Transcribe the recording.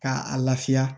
K'a lafiya